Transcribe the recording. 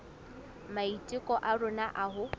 maiteko a rona a ho